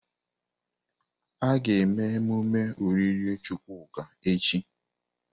A ga-eme emume olili Chukwuka echi.